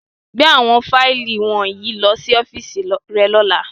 Gbe awọn faili wọnyi lọ si ọfiisi rẹ ni ọla!